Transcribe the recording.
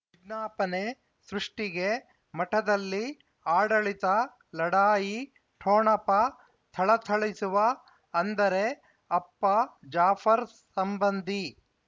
ವಿಜ್ಞಾಪನೆ ಸೃಷ್ಟಿಗೆ ಮಠದಲ್ಲಿ ಆಡಳಿತ ಲಢಾಯಿ ಠೊಣಪ ಥಳಥಳಿಸುವ ಅಂದರೆ ಅಪ್ಪ ಜಾಫರ್ ಸಂಬಂಧಿ